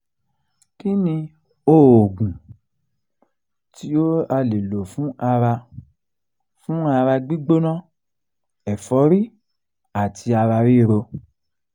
kí ni oògùn tí a lè lò fún ara fún ara gbigbona ẹ̀forí àti ara ríro?